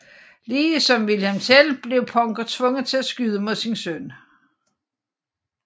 Ligesom Wilhelm Tell blev Punker tvunget til at skyde mod sin søn